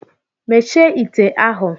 Mechie ite ahụ!